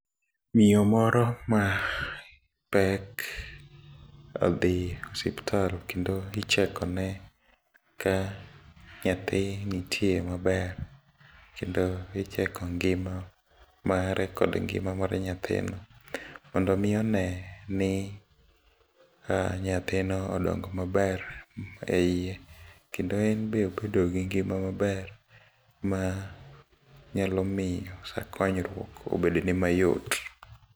Miyo moro mapek odhi ospital kendo ichekone ka nyathi nitie maber, kendo icheko ngima mare kod ngima mar nyathino mondomi oneni nyathino odongo maber e iye, kendo embe obedo gi ngima maber ma nyalomiyo sa konyruok obedone mayot.